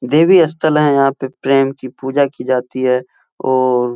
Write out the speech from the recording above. देवीस्थल है। यहाँ पे प्रेम की पूजा की जाती है और --